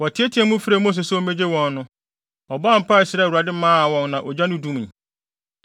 Wɔteɛteɛɛ mu frɛɛ Mose sɛ ommegye wɔn no, ɔbɔɔ mpae srɛɛ Awurade maa wɔn na ogya no dumii.